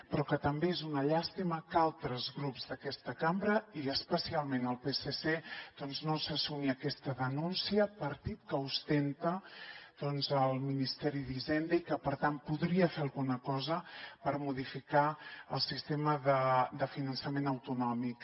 però que també és una llàstima que altres grups d’aquesta cambra i especialment el psc doncs no se sumi a aquesta denúncia partit que ostenta doncs el ministeri d’hisenda i que per tant podria fer alguna cosa per modificar el sistema de finançament autonòmic